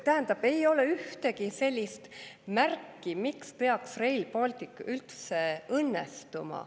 Tähendab, ei ole ühtegi sellist märki, miks peaks Rail Baltic üldse õnnestuma.